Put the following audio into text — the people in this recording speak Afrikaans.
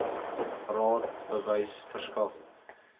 raad bewys verskaf